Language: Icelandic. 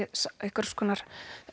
einhvers konar